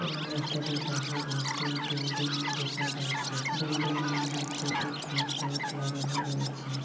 এবং রাস্তাটির পাশে একটি বিল্ডিং দেখা যাচ্ছে বিল্ডিংয়ের নিচে একটি বোট লাগানো রয়েছে।